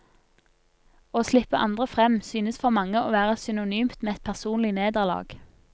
Å slippe andre frem synes for mange å være synonymt med et personlig nederlag.